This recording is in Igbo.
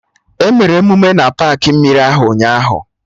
Emere emume na paakị mmiri ahụ ụnyaahụ